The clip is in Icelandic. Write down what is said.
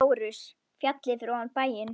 LÁRUS: Fjallið fyrir ofan bæinn.